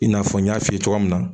I n'a fɔ n y'a f'i ye cogoya min na